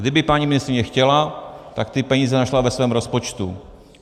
Kdyby paní ministryně chtěla, tak ty peníze našla ve svém rozpočtu.